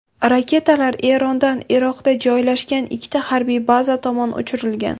Raketalar Erondan Iroqda joylashgan ikkita harbiy baza tomon uchirilgan.